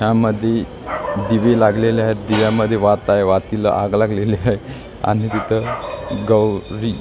यामध्ये दिवे लागलेले आहेत दीव्यामध्ये वात आहे वातीला आग लागलेली आहे आणि तिथं गौरी--